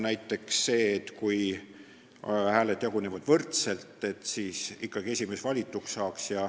Näiteks see, et kui hääled jagunevad võrdselt, siis esimees ikkagi valitud saaks.